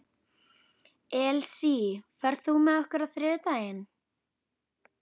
Elsí, ferð þú með okkur á þriðjudaginn?